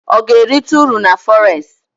Ọ ga-erite uru na fọres?